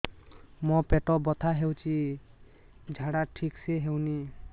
ମୋ ପେଟ ବଥା ହୋଉଛି ଝାଡା ଠିକ ସେ ହେଉନି